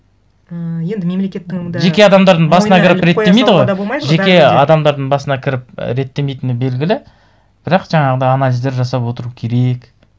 і енді мемлекеттің де жеке адамдардың басына кіріп реттемейді ғой жеке адамдардың басына кіріп реттемейтіні белгілі бірақ жаңағындай анализдер жасап отыру керек